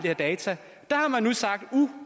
her data sagt